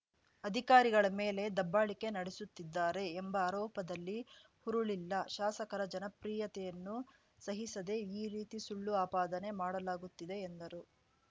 ಅಧಿಕಾರಿಗಳ ಮೇಲೆ ದಬ್ಬಾಳಿಕೆ ನಡೆಸುತ್ತಿದ್ದಾರೆ ಎಂಬ ಆರೋಪದಲ್ಲಿ ಹುರುಳಿಲ್ಲ ಶಾಸಕರ ಜನಪ್ರಿಯತೆಯನ್ನು ಸಹಿಸದೆ ಈ ರೀತಿ ಸುಳ್ಳು ಆಪಾದನೆ ಮಾಡಲಾಗುತ್ತಿದೆ ಎಂದರು